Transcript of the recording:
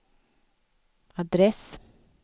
adress